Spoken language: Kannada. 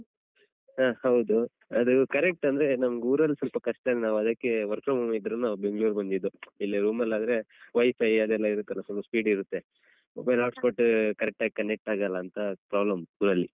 ಹ ಹೌದು ಅದು correct ಅಂದ್ರೆ ನನ್ಗೂರಲ್ಲಿ ಸ್ವಲ್ಪ ಕಷ್ಟ ಅಲ್ಲ ಅದಕ್ಕೆ work from home job ಇದ್ರು ನಾವ್‌ ಬೆಂಗ್ಳೂರಿಗ್ ಬಂದಿದ್ದು ಇಲ್ಲೆ room ಅಲಾದ್ರೆ WiFi ಅದೆಲ್ಲ ಇರುತ್ತಲ್ಲ ಸ್ವಲ್ಪ speed ಇರುತ್ತೆ mobile hotspot correct ಆಗಿ connect ‌ ಆಗಲ್ಲ ಅಂತ problem ಊರಲ್ಲಿ.